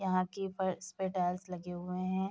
यहाँ की फर्श पे टाइल्स लगे हुए है।